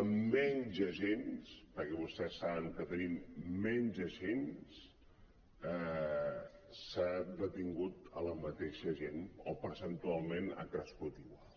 amb menys agents perquè vostès saben que tenim menys agents s’ha de·tingut la mateixa gent o percentualment ha crescut igual